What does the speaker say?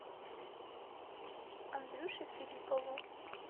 андрюше филиппову